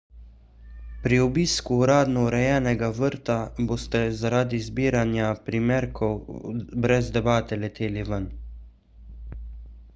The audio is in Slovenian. pri obisku uradno urejenega vrta boste zaradi zbiranja primerkov brez debate leteli ven